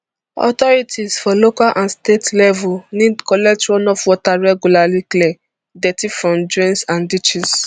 authorities for local and state level need collect runoff water regularly clear dirty from drains and ditches